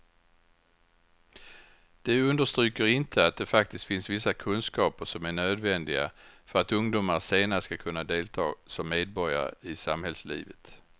De understryker inte att det faktiskt finns vissa kunskaper som är nödvändiga för att ungdomar senare ska kunna delta som medborgare i samhällslivet.